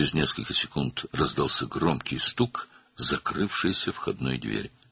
Bir neçə saniyə sonra qapının bərk çırpılma səsi gəldi.